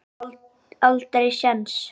Ég átti aldrei séns.